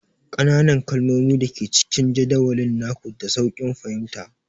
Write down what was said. Ƙananan kalmomi da ke cikin jadawalin naku, da sauƙin fahimta